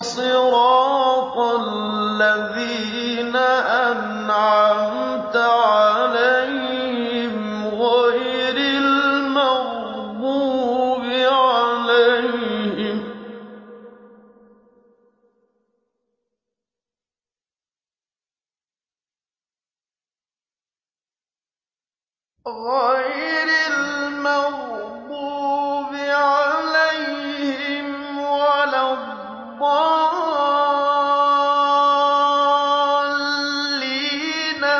صِرَاطَ الَّذِينَ أَنْعَمْتَ عَلَيْهِمْ غَيْرِ الْمَغْضُوبِ عَلَيْهِمْ وَلَا الضَّالِّينَ